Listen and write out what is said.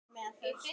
Hún mælti